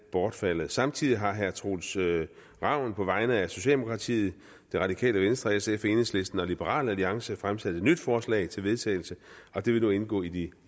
bortfaldet samtidig har herre troels ravn på vegne af socialdemokratiet det radikale venstre sf enhedslisten og liberal alliance fremsat et nyt forslag til vedtagelse det vil nu indgå i de